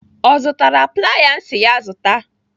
Ọ zụtara playa m si ya zụta?